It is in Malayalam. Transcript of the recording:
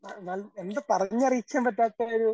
എന്ത് പറഞ്ഞറിയിക്കാൻ പറ്റാത്ത ഒരു